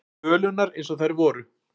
Tölurnar eins og þær voru.